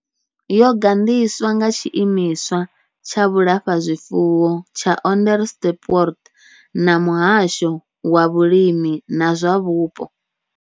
Yo gandiswa nga tshiimiswa tsha vhulafhazwifuwo tsha Onderstepoort na muhasho wa vhulimi na zwa vhupo.